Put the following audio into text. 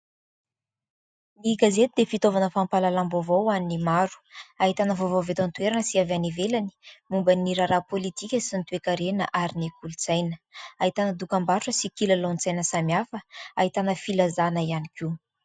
Ny gazety dia fitaovana fampahalalam-baovao ho any maro. Ahitana vaovao avy eto an-toerana sy avy any ivelany ; momba ny raharaha pôlitika sy ny toe-karena ary ny kolontsaina. Ahitana dokam-barotra sy kolontsaina samihafa ahitana filazana ihany koa.